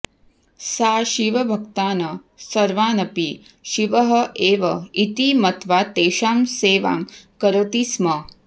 सा शिवभक्तान् सर्वानपि शिवः एव इति मत्वा तेषां सेवां करोति स्म